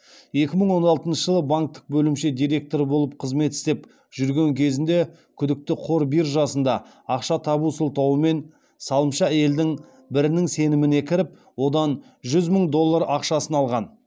екі мың он алтыншы жылы банктік бөлімше директоры болып қызмет істеп жүрген кезінде күдікті қор биржасында ақша табу сылтауымен салымшы әйелдің бірінің сеніміне кіріп одан жүз мың доллар ақшасын алған